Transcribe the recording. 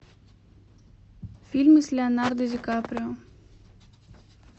фильмы с леонардо ди каприо